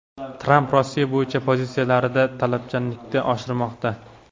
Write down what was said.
Tramp Rossiya bo‘yicha pozitsiyalarida talabchanlikni oshirmoqda .